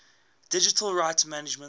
digital rights management